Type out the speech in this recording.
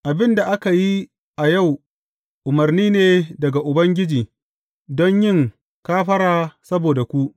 Abin da aka yi a yau umarni ne daga Ubangiji don yin kafara saboda ku.